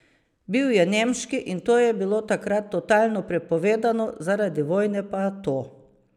Bil je nemški, in to je bilo takrat totalno prepovedano, zaradi vojne pa to.